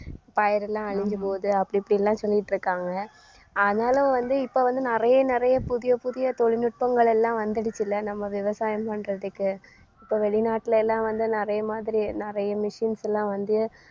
பயிரெல்லாம் அழிஞ்சி போகுது. அப்படி இப்படின்னெல்லாம் சொல்லிட்டிருக்காங்க ஆனாலும் வந்து இப்ப வந்து நிறைய நிறைய புதிய புதிய தொழில்நுட்பங்கள் எல்லாம் வந்திடுச்சுல நம்ம விவசாயம் பண்றதுக்கு. இப்ப வெளிநாட்டுல எல்லாம் வந்து நிறைய மாதிரி நிறைய machines எல்லாம் வந்து